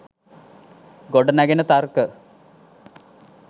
ගොඩනැගෙන තර්ක